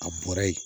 A bɔra yen